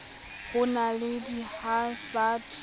ho na le di hansard